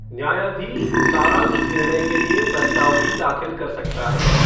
न्यायाधीश सारांश निर्णय के लिए प्रस्ताव भी दाखिल कर सकता है।